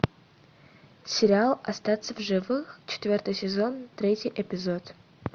сериал остаться в живых четвертый сезон третий эпизод